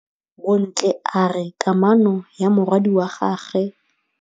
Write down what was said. Bontle a re kamanô ya morwadi wa gagwe le Thato e bontsha lerato.